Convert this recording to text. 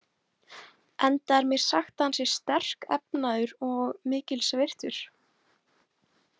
Enda er mér sagt að hann sé sterkefnaður og mikils virtur.